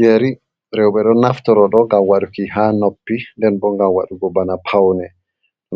Yerii, rewɓe ɗon naftoro ɗo ngam waɗuki ha noppi, nden bo ngam waɗugo bana pawne